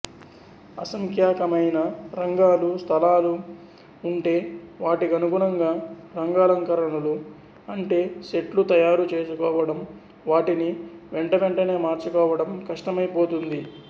అసంఖ్యాకమైన రంగాలూ స్థలాలూ ఉంటే వాటికనుగుణంగా రంగాలంకరణలు అంటే సెట్లు తయారు చేసుకోవడం వాటిని వెంటవెంటనే మార్చుకోవడం కష్టమైపోతుంది